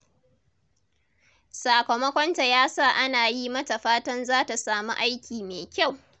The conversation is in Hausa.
Sakamakonta ya sa ana yi mata fatan za ta samu aiki mai kyau.